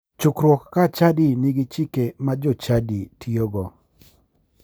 Chukruok ka chadi nigi chike ma jochadi tiyogo